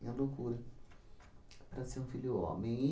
E a loucura para ser um filho homem.